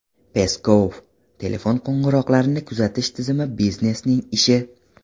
Peskov: telefon qo‘ng‘iroqlarini kuzatish tizimi biznesning ishi.